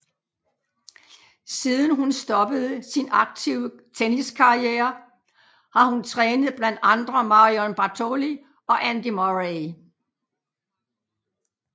Siden hun stoppede sin aktive tenniskarriere har hun trænet blandt andre Marion Bartoli og Andy Murray